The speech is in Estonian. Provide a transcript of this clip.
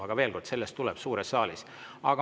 Aga veel kord, sellest tuleb juttu suures saalis.